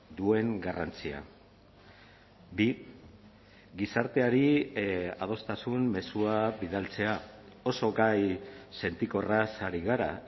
duen garrantzia bi gizarteari adostasun mezua bidaltzea oso gai sentikorraz ari gara